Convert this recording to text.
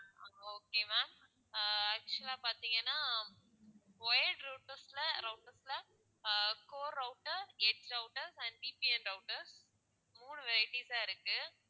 ஆஹ் okay ma'am ஆஹ் actual ஆ பாத்தீங்கன்னா wired routers ல routers ல ஆஹ் core router edge router and VPN router மூணு varieties தான் இருக்கு